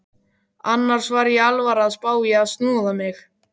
Annars var ég alvarlega að spá í að snoða mig.